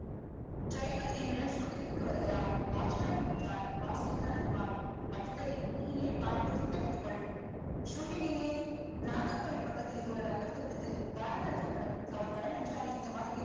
driver என்னுடன் shooting ற்க்கு வருகிறான் watchman மட்டும்தான் வாசலில் தான் இருப்பான் மற்றதை நீயே பார்த்து திட்டமிட்டுக்கொள் shooting எங்க நாகர்கோவில் பக்கத்தில் ஒரு rubber தோட்டத்தில் பாரதிராஜா படம் அவர் படம் என்றால் இந்தமாதிரி